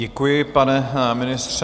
Děkuji, pane ministře.